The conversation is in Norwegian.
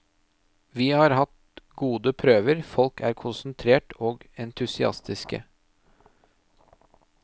Vi har hatt gode prøver, folk er konsentrert og entusiastiske.